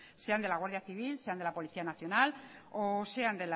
sean de la guardia civil sean de la policía nacional o sean